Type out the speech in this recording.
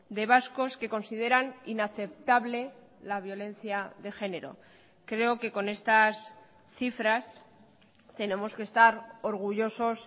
de vascos que consideran inaceptable la violencia de género creo que con estas cifras tenemos que estar orgullosos